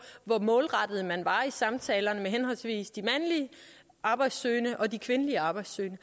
hvor målrettet man var i samtalerne med henholdsvis de mandlige arbejdssøgende og de kvindelige arbejdssøgende